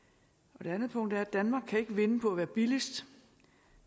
det andet punkt er at danmark ikke kan vinde på at være billigst